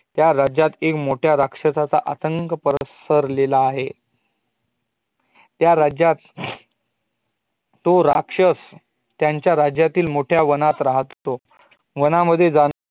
त्या राज्यात आता एक मोठ्या राक्षसाचा आतंक पसर्ल्येला आहे त्या राज्यात तो राक्षस त्यांच्या राज्यातील मोठ्या वनात राहतो वन मध्ये जातांना